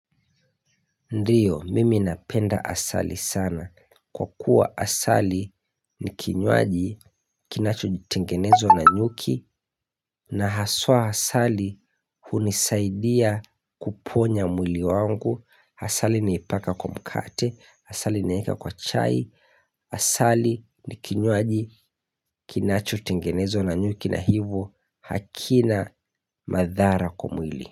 Ndiyo, mimi napenda asali sana. Kwa kuwa asali ni kinywaji kinacho jitengenezo na nyuki na haswa asali hunisaidia kuponya mwili wangu. Asali naipaka kumkate. Asali naeka kwa chai. Asali ni kinywaji kinachotengenezwa na nyuki na hivi hakina madhara kwa mwili.